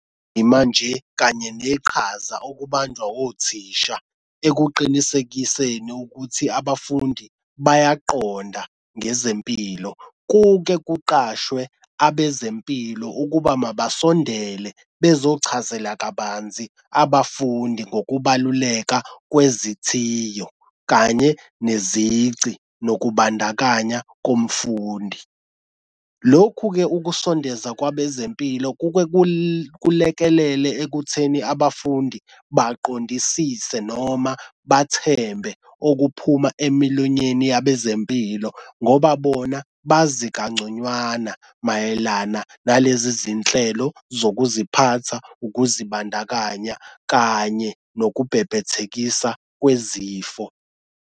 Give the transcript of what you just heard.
Yimanje kanye neqhaza okubanjwa othisha ekuqinisekiseni ukuthi abafundi bayaqonda ngezempilo. Kuke kuqashwe abezempilo ukuba mabasondele bezochazela kabanzi abafundi ngokubaluleka kwezithiyo kanye nezici nokubandakanya komfundi. Lokhu-ke ukusondeza kwabezempilo kuke kulekelelwe ekutheni abafundi baqondisise noma bathembe okuphuma emilonyweni yabezempilo ngoba bona bazi kangconywana mayelana nalezi zinhlelo zokuziphatha, ukuzibandakanya kanye nokubhebhethekisa kwezifo.